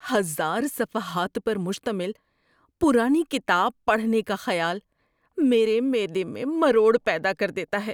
ہزار صفحات پر مشتمل پرانی کتاب پڑھنے کا خیال میرے معدے میں مروڑ پیدا کر دیتا ہے.